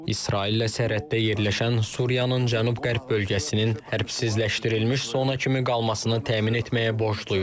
İsraillə sərhəddə yerləşən Suriyanın cənub-qərb bölgəsinin hərbsizləşdirilmiş zona kimi qalmasını təmin etməyə borcluyuq.